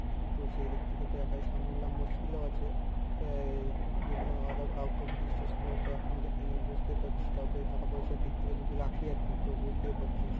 তো সেই দিক থেকে তো একাই সামলাম মুসকিল ও আছে। তাই জন্য আরো কাউকে বিশ্বাস করা তো এখনকার দিনে বুঝতেই পারছিস কাউকে টাকা পয়সার দিক থেকে যদি রাখি আরকি তো বুঝতেই পারছিস